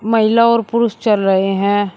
महिला और पुरुष चल रहे हैं।